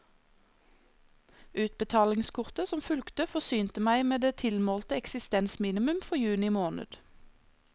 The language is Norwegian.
Utbetalingskortet som fulgte forsynte meg med det tilmålte eksistensminimum for juni måned.